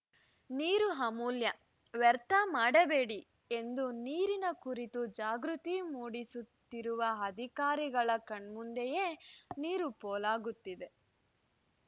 ನೀರು ಅಮೂಲ್ಯ ವ್ಯರ್ಥ ಮಾಡಬೇಡಿ ಎಂದು ನೀರಿನ ಕುರಿತು ಜಾಗೃತಿ ಮೂಡಿಸುತ್ತಿರುವ ಅಧಿಕಾರಿಗಳ ಕಣ್ಮುಂದೆಯೇ ನೀರು ಪೋಲಾಗುತ್ತಿದೆ